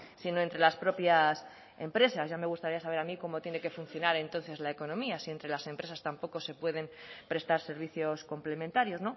sino entre las propias empresas ya me gustaría saber a mí cómo tiene que funcionar entonces la economía si entre las empresas tampoco se pueden prestar servicios complementarios